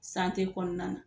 kɔnɔna na.